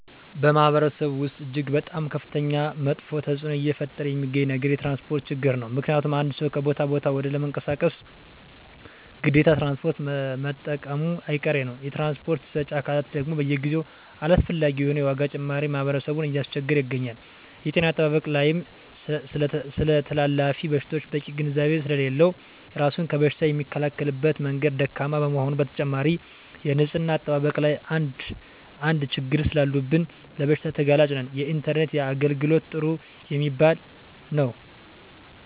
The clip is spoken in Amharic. በማህበረሰቡ ወስጥ እጅግ በጣም ከፍተኛ መጥፌ ተፅዕኖ እየፈጠረ የሚገኘው ነገር የትራንስፖርት ችግር ነው ምክንያቱም አንድ ሰው ከቦታ ወደ ቦታ ለመንቀሳቀስ ግዴታ ትራንስፖርት መጠቀሙጨ አይቀሬ ነው የትራንስፖርት ሰጪ አካላት ደግም በየጊዜው አላስፈላጊ የሆነ የዋጋ ጭማሪ ህብረተሰብን እያስቸገረ ይገኛል። የጤና አጠባበቅ ላይም ስለተላላፊ በሽታወች በቂ ግንዛቤ ስሌለለው እራሱን ከበሽታ የሚከላከልበት መንገድ ደካማ በመሆኑ በተጨማሪም የንፅህና አጠባበቅ ላይም አንድ አንድ ችግሮች ሰላሉብን ለበሽታ ተጋላጭ ነን። የኢንተርኔት የአገልግሎት ጥሩ የሚባል የው።